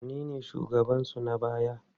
Wanene shugabansu na baya?